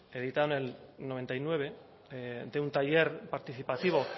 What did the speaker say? editado en el noventa y nueve de un taller participativo